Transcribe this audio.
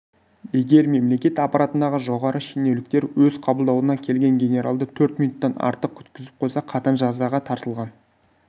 егер мемлекет аппаратындағы жоғары шенеуліктер өз қабылдауына келген генералды төрт минуттен артық күткізіп қойса қатаң жазаға тартылған